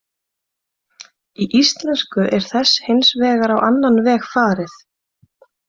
Í íslensku er þessu hins vegar á annan veg farið.